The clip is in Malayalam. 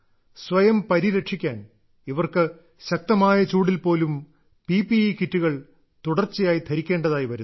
സ്വയം പരിരക്ഷിക്കാൻ ഇവർക്ക് ശക്തമായ ചൂടിൽ പോലും പി പി ഇ കിറ്റുകൾ തുടർച്ചയായി ധരിക്കേണ്ടതായി വരുന്നു